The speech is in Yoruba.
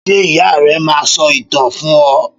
Ṣé ìyá rẹ máa ń sọ ìtàn fún ọ?